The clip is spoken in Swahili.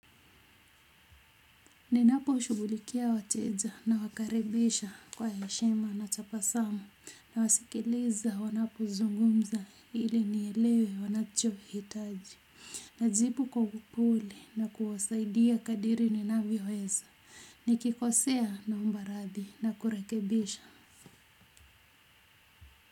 Ninaposhughulikia wateja nawakaribisha kwa heshima na tabasamu nawasikiliza wanapozungumza ili nielewe wanachohitaji. Najibu kwa upole na kuwasaidia kadri ninavyoweza nikikosea naomba radhi na kurekebisha.